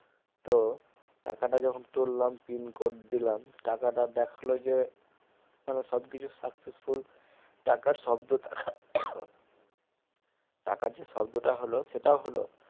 তো টাকাটা যখন তুললাম pincode দিলাম টাকাটা দেখালো যে মানে সবকিছু successful টাকার শব্দ টাকা টাকার যে শব্দটা হলো সেটাও হলো